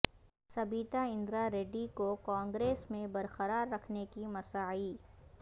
سبیتا اندرا ریڈی کو کانگریس میں برقرار رکھنے کی مساعی